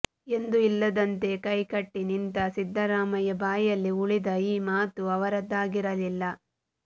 ಎಂದೂ ಇಲ್ಲದಂತೆ ಕೈಕಟ್ಟಿ ನಿಂತ ಸಿದ್ದರಾಮಯ್ಯ ಬಾಯಲ್ಲಿ ಉಲಿದ ಈ ಮಾತು ಅವರದಾಗಿರಲಿಲ್ಲ